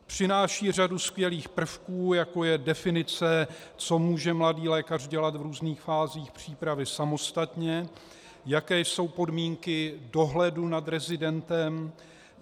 Přináší řadu skvělých prvků, jako je definice, co může mladý lékař dělat v různých fázích přípravy samostatně, jaké jsou podmínky dohledu nad rezidentem.